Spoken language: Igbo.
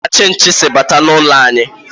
Ebee ka chinchi si bata n'ime ụlọ anyị?